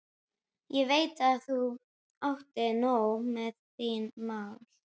Ég veit að þú átt nóg með þín mál.